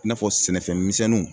I n'a fɔ sɛnɛfɛn misɛnninw